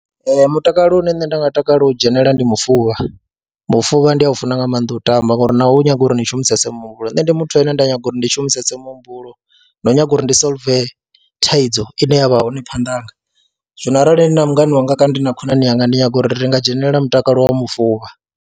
Ee, mutakalo une nṋe nda nga takalela u dzhenelela ndi mufuvha, mufuvha ndi a u funa nga maanḓa u tamba ngori nao u nyaga uri ni shumise muhumbulo. Nṋe ndi muthu ane nda nyaga uri ndi shumise muhumbulo na u nyaga uri ndi solve thaidzo ine ya vha hone phanḓa hanga, zwino arali ndi na mungana wanga kana ndi na khonani yanga ndi nyaga uri ri nga dzhenelela mutakalo wa mufuvha.